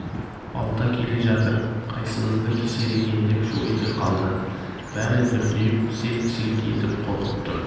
балта келе жатыр қайсымызды кесер екен деп шу ете қалды бәрі дүрдиіп селк-селк етіп қорқып тұр